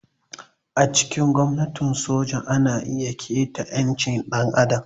A cikin gwamnatin soja ana iya taƙaita ƴancin ɗan adam.